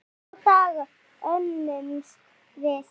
Í þrjá daga hömumst við.